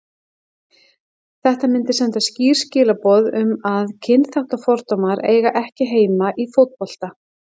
Þetta myndi senda skýr skilaboð um að kynþáttafordómar eiga ekki heima í fótbolta.